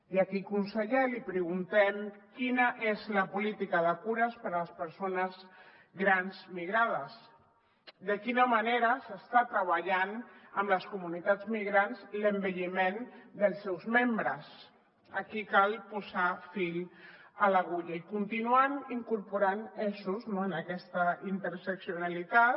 i aquí conseller li preguntem quina és la política de cures per a les persones grans migrades de quina manera s’està treballant amb les comunitats migrants l’envelliment dels seus membres aquí cal posar fil a l’agulla i continuar incorporant eixos no en aquesta interseccionalitat